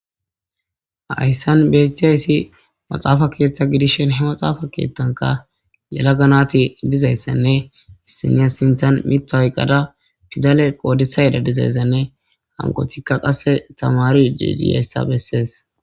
Hayssan beettiyayssi maxaafa keeththa gidishen he maxaafa keethtanka lela ganati dizayssenne sina sintan mitha hoyqqada fidale qoodisa yeda dizayssenne hanqotikka qasse tamari didiyassa bessees.